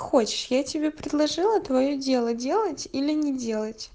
хочешь я тебе предложила твоё дело делать или не делать